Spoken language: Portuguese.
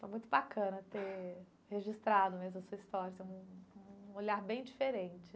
Foi muito bacana ter registrado mesmo a sua história assim, um um olhar bem diferente.